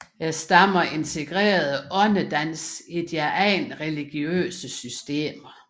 Stammerne integrerede åndedansen i deres egne religiøse systemer